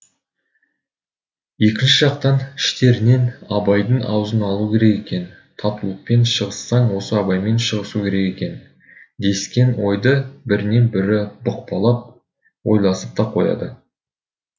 екінші жақтан іштерінен абайдың аузын алу керек екен татулықпен шығыссаң осы абаймен шығысу керек екен дескен ойды бірінен бірі бұқпалап ойласып та қояды